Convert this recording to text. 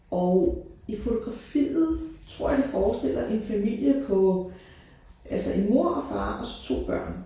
Og i fotografiet tror jeg det forestiller en familie på altså en mor og far og så 2 børn